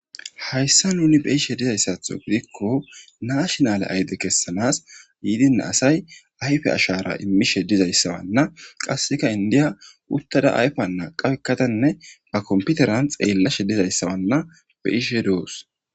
hayssa nuni be'ishe dizayssatho gidikko naashnale ayde kessanas yiidina asay ayfe ashara immishe dizayssawanna qasseka indiya uttada ayfa naa qawekkatanne ba komputeran xeellashe dizayssawanna be ishe doos